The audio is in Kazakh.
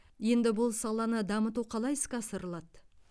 енді бұл саланы дамыту қалай іске асырылады